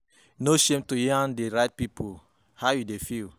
No shame to yarn di right pipo how you you dey feel